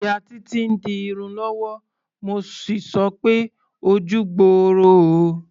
Ìyá Títí ń di irun lọ́wọ́, mo sì sọ pé "ojú gbooro o".